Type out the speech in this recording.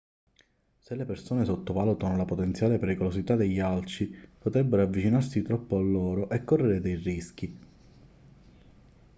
se le persone sottovalutano la potenziale pericolosità degli alci potrebbero avvicinarsi troppo a loro e correre dei rischi